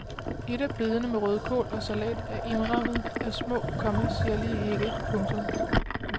Et af bedene med rødkål og salat er indrammet af små, komma sirlige hække. punktum